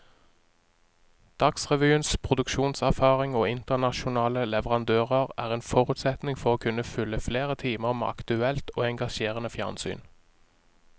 Dagsrevyens produksjonserfaring og internasjonale leverandører er en forutsetning for å kunne fylle flere timer med aktuelt og engasjerende fjernsyn.